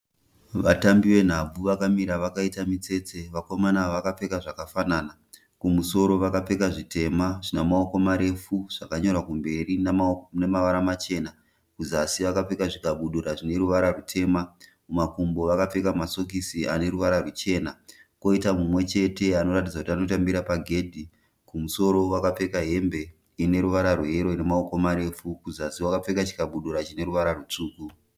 Vatambi venhabvu vakamira vakaita mitsetse vakomana ava vakapfeka zvakafanana, kumusoro vakapfeka zvitema zvine maoko marefu zvakanyorwa kumberi namavara machena, kuzasi vakapfeka zvikabudura zvine ruvara rutema, kumakumbo vakapfeka masokisi ane ruvara ruchena. Koita mumwe chete anoratidza kuti anotambira pagedhi kumusoro akapfeka hembe ine ruvara rweyero ine maoko marefu kuzasi akapfeka chikabudura chine ruvara rutsvuku.